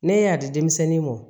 Ne y'a di denmisɛnnin mɔn